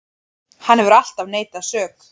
Hann hefur alltaf neitað sök